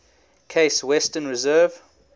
case western reserve